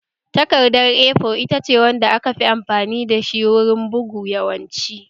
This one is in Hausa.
Takardar A4 ita ce wanda aka fi amfani da shi wurin bugu yawanci